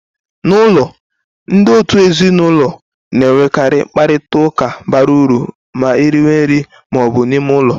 N'ụlọ, ndị òtù ezinụlọ na-enwekarị mkparịta ụka bara uru ma eriwe nri ma ọ bụ n'ime ụlọ.